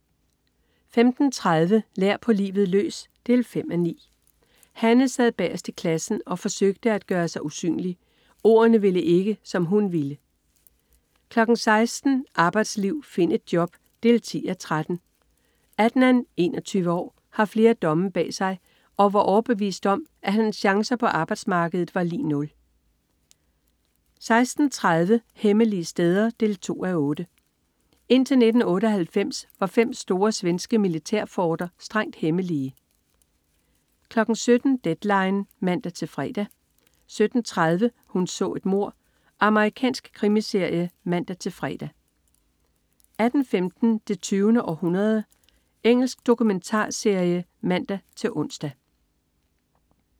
15.30 Lær på livet løs 5:9. Hanne sad bagest i klassen og forsøgte at gøre sig usynlig. Ordene ville ikke, som hun ville 16.00 Arbejdsliv. Find et job! 10:30. Adnan, 21 år, har flere domme bag sig og var overbevist om, at hans chancer på arbejdsmarkedet var lig nul 16.30 Hemmelige steder 2:8. Indtil 1998 var fem store svenske militærforter strengt hemmelige 17.00 Deadline 17.00 (man-fre) 17.30 Hun så et mord. Amerikansk krimiserie (man-fre) 18.15 Det 20. århundrede. Engelsk dokumentarserie (man-ons)